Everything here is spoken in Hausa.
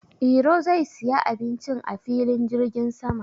Iro zai siya abincin a filin jirgin sama.